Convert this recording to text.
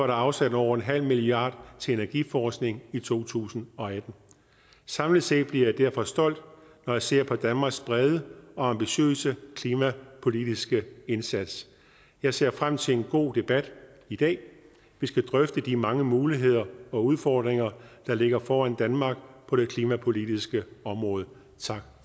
der afsat over en halv milliard kroner til energiforskning i to tusind og atten samlet set bliver jeg derfor stolt når jeg ser på danmarks brede og ambitiøse klimapolitiske indsats jeg ser frem til en god debat i dag vi skal drøfte de mange muligheder og udfordringer der ligger foran danmark på det klimapolitiske område tak